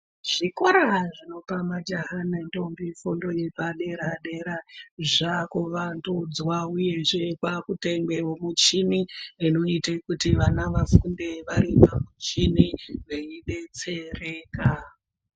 Zvikora zvinopa majaha nendombi Fundo yepadera dera zvakuvandudzwa uye kwakutengwawo michini inoita kuti vana vafunde vaine michini veidetsereka.